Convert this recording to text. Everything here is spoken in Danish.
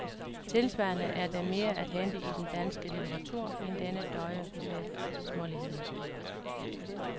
Tilsvarende er der mere at hente i den danske litteratur, end denne døje med småligheden.